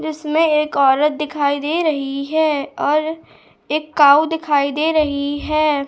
जिसमें एक औरत दिखाई दे रही है और एक कॉउ दिखाई दे रही है।